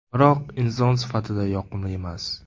Biroq inson sifatida yoqimli emas.